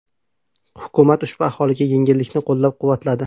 Hukumat ushbu aholiga yengillikni qo‘llab-quvvatladi.